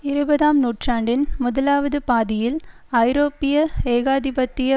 இருபதாம் நூற்றாண்டின் முதலாவது பாதியில் ஐரோப்பிய ஏகாதிபத்திய